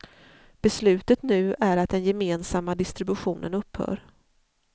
Beslutet nu är att den gemensamma distributionen upphör.